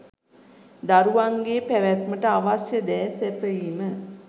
දරුවන්ගේ පැවැත්මට අවශ්‍ය දෑ සැපයීම